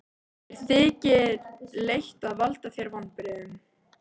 Mér þykir leitt að valda þér vonbrigðum.